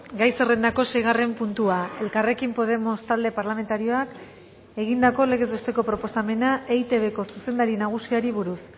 gai zerrendako seigarren puntua elkarrekin podemos talde parlamentarioak egindako legez besteko proposamena eitbko zuzendari nagusiari buruz